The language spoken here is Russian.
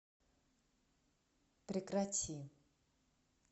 прекрати